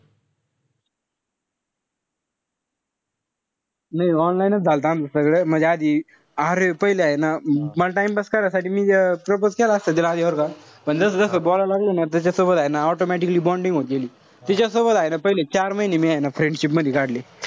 नाई online च झालंत आमचं सगळं. म्हणजे आधी अरे पहिले ए ना मला time pass करायसाठी मी propose केला असता तिला आधी बरं का. पण जस-जस बोलायला लागलो ना. तस तिच्यासोबत हाय ना automatic bonding होत गेली. तिच्यासमोर हाये ना पहिले चार महिने मी हे ना friendship मधी काढले.